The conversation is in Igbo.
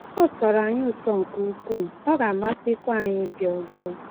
Ọ tọrọ anyị ụtọ nke ukwuu, ọ ga-amasịkwa anyị ịbịa ọzọ